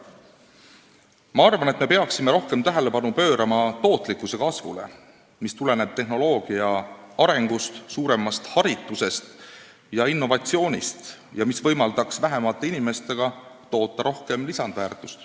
Ma arvan, et me peaksime rohkem tähelepanu pöörama tootlikkuse kasvule, mis tuleneb tehnoloogia arengust, suuremast haritusest ja innovatsioonist ning mis võimaldaks vähemate inimestega toota rohkem lisandväärtust.